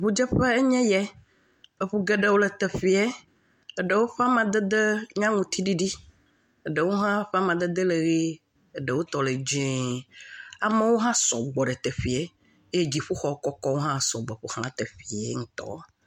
Ŋudzeƒe enye ya. Eŋu geɖewo le teƒea. Eɖewo ƒe amadede nye aŋuti ɖiɖi. Eɖewo hã ƒe amadede le ʋie eɖewo tɔ le dzie. Amewo hã sɔ gbɔ ɖe teƒa eye dziƒoxɔ kɔkɔwo hã sɔ gbɔ ƒoxla teƒea ŋutɔ.